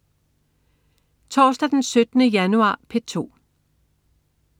Torsdag den 17. januar - P2: